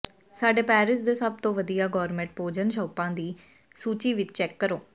ਸਾਡੇ ਪੈਰਿਸ ਦੇ ਸਭ ਤੋਂ ਵਧੀਆ ਗੋਰਮੇਟ ਭੋਜਨ ਸ਼ੌਪਾਂ ਦੀ ਸੂਚੀ ਵੀ ਚੈੱਕ ਕਰੋ